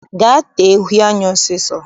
Gaa tee uhe anya ọsọ ọsọ!